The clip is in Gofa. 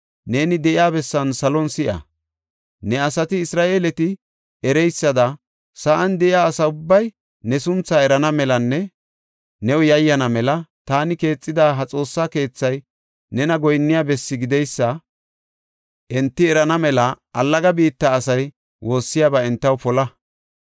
neeni de7iya bessan salon si7a. Ne asati, Isra7eeleti ereysada sa7an de7iya asa ubbay ne sunthaa erana melanne new yayyana mela, taani keexida ha Xoossa keethay nena goyinniya bessi gideysa enti erana mela allaga biitta asay woossiyaba entaw pola.